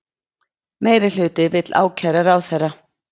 Meirihluti vill ákæra ráðherra